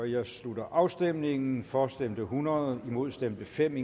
jeg slutter afstemningen for stemte hundrede imod stemte fem